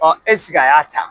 Ɔ e sigi a y'a ta